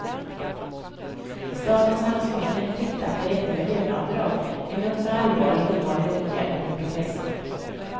Statens ansvarsnämnd tyckte att det räckte med löneavdrag, en nog så allvarlig och ovanlig åtgärd mot en professor.